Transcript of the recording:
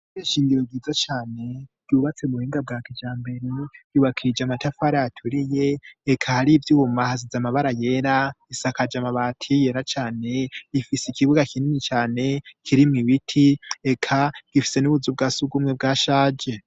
ishure ishingiro ryiza cane yubatse mu buhinga bwakijambere yubakija amatafara aturiye ek hari iby'ubuma hasize amabara yera isakaje mabati yera cane rifise ikibuga kinini cane kirimwo ibiti ekeka gifise n'ubuzu bwasugumwe bwa shaje